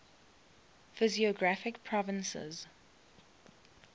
physiographic provinces